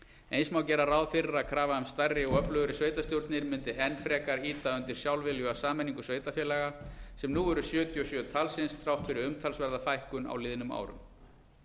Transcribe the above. eins má gera ráð fyrir að krafa um stærri og öflugri sveitarstjórnir mundi enn frekar ýta undir sjálfviljuga sameiningu sveitarfélaga sem nú eru sjötíu og sjö talsins þrátt fyrir umtalsverða fækkun á liðnum árum